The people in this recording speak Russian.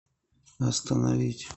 остановить